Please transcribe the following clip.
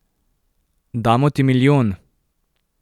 Damo ti milijon!